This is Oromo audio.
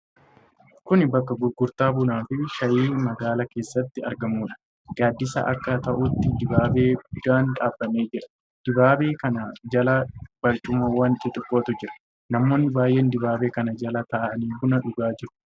Kun bakka gurgurtaa bunaa fi shaayii magaalaa keessatti argamuudha. Gaaddisa akka ta'utti dibaabee guddaan dhaabamee jira. Dibaabee kana jala barcumawwan xixiqqootu jira. Namoonni baay'een dibaabee kana jala taa'anii buna dhugaa jiru.